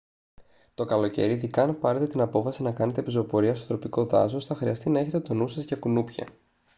το καλοκαίρι ειδικά αν πάρετε την απόφαση να κάνετε πεζοπορία στο τροπικό δάσος θα χρειαστεί να έχετε τον νου σας για κουνούπια